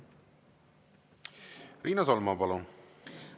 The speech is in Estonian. Riina Solman, palun!